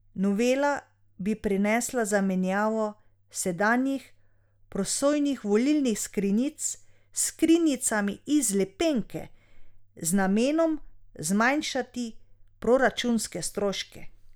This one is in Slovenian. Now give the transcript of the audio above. Novela bi prinesla zamenjavo sedanjih prosojnih volilnih skrinjic s skrinjicami iz lepenke, z namenom zmanjšati proračunske stroške.